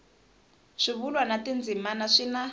swivulwa na tindzimana swi na